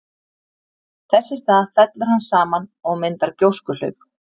Þess í stað fellur hann saman og myndar gjóskuhlaup.